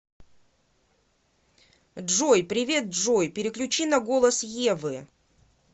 джой привет джой переключи на голос евы